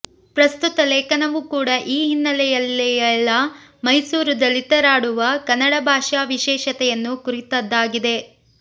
ಪ್ರಸ್ತುತ ಲೇಖನವು ಕೂಡ ಈ ಹಿನ್ನೆಲೆಯಲ್ಲಿಯೇಲ ಮೈಸೂರು ದಲಿತರಾಡುವ ಕನ್ನಡ ಭಾಷಾ ವಿಶೇಷತೆಯನ್ನು ಕುರಿತದಾಗಿದೆ